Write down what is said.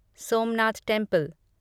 Somnath temple